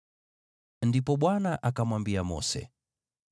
Ndipo Bwana akamwambia Mose,